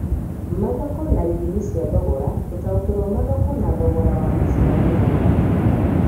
Mathoko na ithimi cia thogora: gũtaũkĩrũo mathoko na thogora wa maciaro nĩ gwa bata